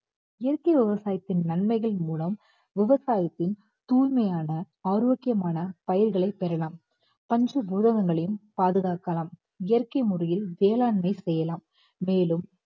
இயற்கை விவசாயத்தின் நன்மைகள் மூலம் விவசாயத்தின் தூய்மையான ஆரோக்கியமான பயிர்களை பெறலாம். பஞ்சபூதங்களையும் பாதுகாக்கலாம் இயற்கை முறையில் வேளாண்மை செய்யலாம்